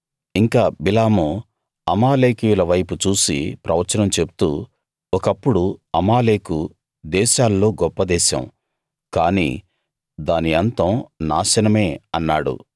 ఇంకా బిలాము అమాలేకీయులవైపు చూసి ప్రవచనం చెప్తూ ఒకప్పుడు అమాలేకు దేశాల్లో గొప్ప దేశం కాని దాని అంతం నాశనమే అన్నాడు